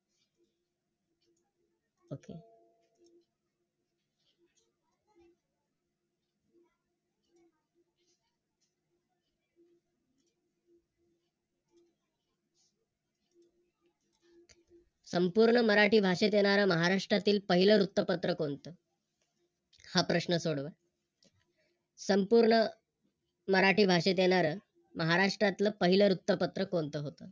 संपूर्ण मराठी भाषेत येणार महाराष्ट्रातील पहिले वृत्तपत्र कोणतं? हा प्रश्न सोडवा. संपूर्ण मराठी भाषेत येणार महाराष्ट्रातल पहिल वृत्तपत्र कोणत होत?